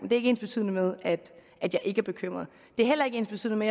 er ikke ensbetydende med at jeg ikke er bekymret det er heller ikke ensbetydende